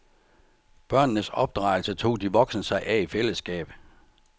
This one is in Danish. Børnenes opdragelse tog de voksne sig af i fællesskab.